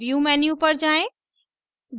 view menu पर जाएँ